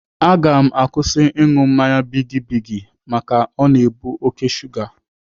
Aga m akwụsị ịṅụ mmanya bigi bigi maka o na-ebu oké shuga.